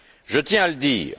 Je tiens à le dire.